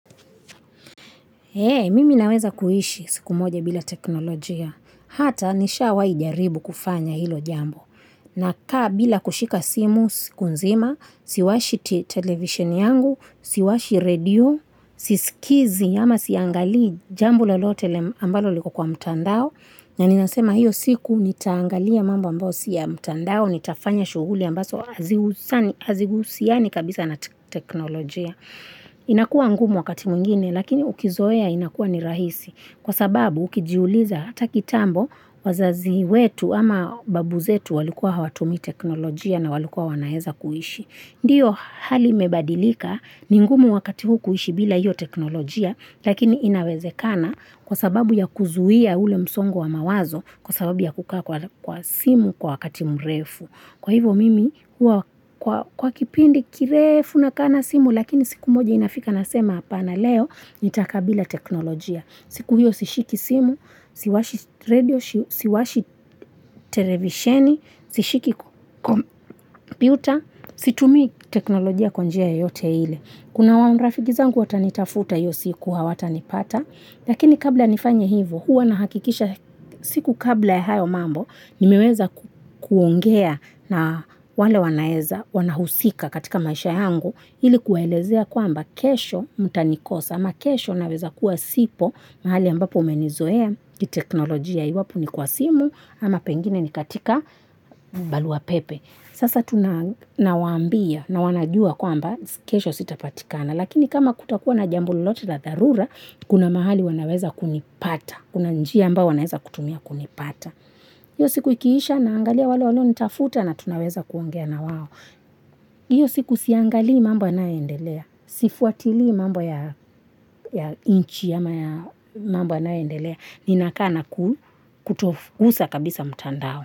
Mimi naweza kuishi siku moja bila teknolojia. Hata nishawai jaribu kufanya hilo jambo. Nakaa bila kushika simu siku nzima, siwashi television yangu, siwashi radio, sisikizi ama siangalii jambo lolote ambalo liko kwa mtandao. Na ninasema hiyo siku nitaangalia mambo ambayo si ya mtandao, nitafanya shughuli ambaso azihusiani kabisa na teknolojia. Inakua ngumu wakati mwingine, lakini ukizoea inakua ni rahisi. Kwa sababu ukijiuliza hata kitambo wazazi wetu ama babu zetu walikuwa hawatumii teknolojia na walikuwa wanaeza kuishi. Ndiyo hali imebadilika ni ngumu wakati huu kuishi bila hiyo teknolojia lakini inawezekana kwa sababu ya kuzuia ule msongo wa mawazo kwa sababu ya kukaa kwa simu kwa wakati mrefu. Kwa hivyo mimi, kwa kipindi kirefu nakaa na simu lakini siku moja inafika nasema hapana leo nitakaa bila teknolojia. Siku hiyo sishiki simu, siwashi redio, siwashi televisheni, sishiki computer, situmii teknolojia kwa njia yoyote ile. Kuna wa rafiki zangu watanitafuta hiyo siku hawatanipata, lakini kabla nifanye hivyo, huwa nahakikisha siku kabla ya hayo mambo, nimeweza kuongea na wale wanaeza wanahusika katika maisha yangu, ili kuwaelezea kwamba kesho mtanikosa, ama kesho naweza kuwa sipo, mahali ambapo umenizoea, kiteknolojia iwapo ni kwa simu, ama pengine ni katika barua pepe. Sasa tunawaambia na wanajua kwamba kesho sitapatikana, lakini kama kutakuwa na jambo lolote la dharura, kuna mahali wanaweza kunipata, kuna njia ambayo wanaweza kutumia kunipata. Iyo siku ikiisha naangalia wale walionitafuta na tunaweza kuongea na wao. Iyo siku siangalii mambo yanayoendelea, sifuatilii mambo ya nchi ama ya mambo yanayoendelea, ninakaa na kutogusa kabisa mtandao.